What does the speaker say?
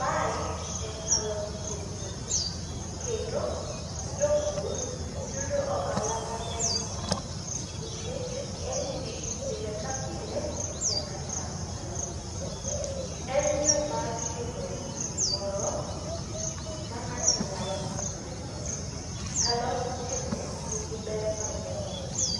mae en alot sikuma, kendo jopur yudo ohala maber kuome nikech ng'enyji pile ka pile nyaka cham alot. En yo mar yudo gimoro ma ng'ato nyalo konyore godo. Alot bende nigi ber mang'eny e del,